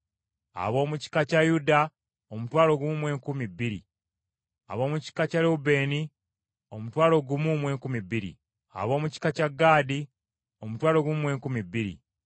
Ab’omu kika kya Yuda omutwalo gumu mu enkumi bbiri (12,000), ab’omu kika kya Lewubeeni omutwalo gumu mu enkumi bbiri (12,000), ab’omu kika kya Gaadi omutwalo gumu mu enkumi bbiri (12,000),